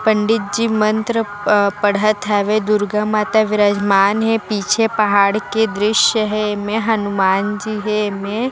पंडित जी मंत्र प पढ़त हवे दुर्गा माता विराजमान हे पीछे पहाड़ के दृस्य हे एमे हनुमान जी हे एमे--